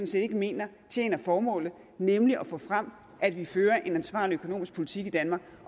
set ikke mener tjener formålet nemlig at få frem at vi fører en ansvarlig økonomisk politik i danmark